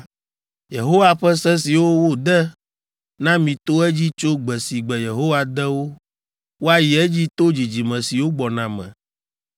Yehowa ƒe se siwo wode na mi to edzi tso gbe si gbe Yehowa de wo, woayi edzi to dzidzime siwo gbɔna me,